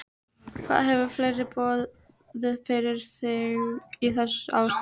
Hvað hefur fleira borið fyrir þig í þessu ástandi?